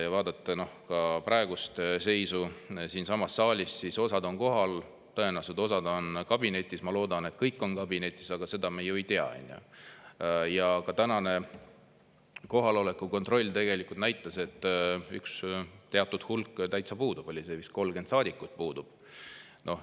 " Kui vaadata ka praegust seisu siinsamas saalis, siis on näha, et osa on kohal, tõenäoliselt osa on kabinetis – ma loodan, et kõik on kabinetis, aga seda me ju ei tea – ja teatud hulk täitsa puudub, ka tänane kohaloleku kontroll näitas, et vist 30 saadikut oli puudu.